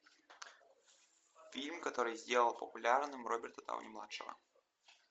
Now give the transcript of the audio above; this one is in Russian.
фильм который сделал популярным роберта дауни младшего